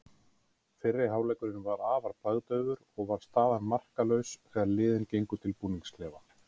Fyrri hálfleikurinn var afar bragðdaufur og var staðan markalaus þegar liðin gengu til búningsklefa.